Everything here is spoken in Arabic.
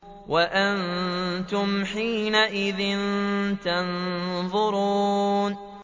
وَأَنتُمْ حِينَئِذٍ تَنظُرُونَ